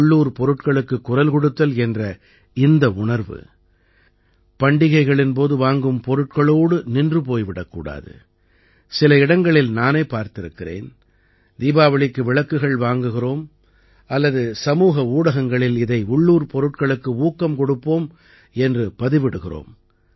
உள்ளூர் பொருட்களுக்குக் குரல் கொடுத்தல் என்ற இந்த உணர்வு பண்டிகைகளின் போது வாங்கும் பொருட்களோடு நின்று போய் விடக் கூடாது சில இடங்களில் நானே பார்த்திருக்கிறேன் தீபாவளிக்கு விளக்குகள் வாங்குகிறோம் அல்லது சமூக ஊடகங்களில் இதை உள்ளூர் பொருட்களுக்கு ஊக்கம் கொடுப்போம் என்று பதிவிடுகிறோம்